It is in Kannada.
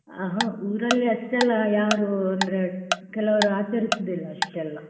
ಅಹಾ ಊರಲ್ಲಿ ಅಷ್ಟೆಲ್ಲ ಯಾರು ಅಂದ್ರೆ ಕೆಲವರು ಆಚರಿಸುವುದಿಲ್ಲ ಅಷ್ಟೆಲ್ಲ.